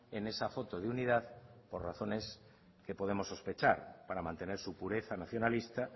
en esa foto de unidad por razones que podemos sospechar para mantener su pureza nacionalista